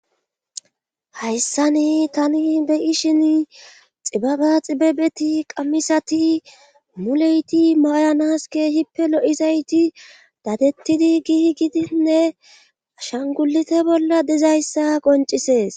hayssani tani beyi shin xibaba xibebeti qammisati muleyti mayanaske hippe lo7izayti dadettidi gihi gidinne ashangulite bolla dizayssa qoncisees